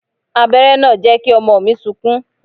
Abéré náà jẹ́ kí ọmọ mi sunkún.